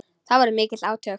Það voru mikil átök.